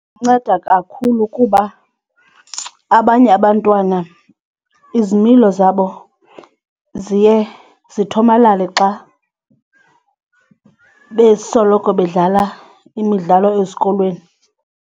Inceda kakhulu kuba abanye abantwana izimilo ziye zithomalale xa besoloko bedlala imidlalo ezikolweni.